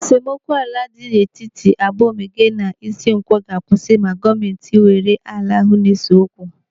Esemokwu ala dị n'etiti Abaomege na Ishinkwọ ga-akwụsị ma gọọmenti weghara ala ahụ na-ese okwu.